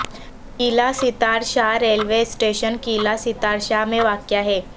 قلعہ Sattar Shah railway station Qila Sattar Shah میں واقع ہے